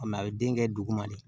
a bɛ den kɛ duguma de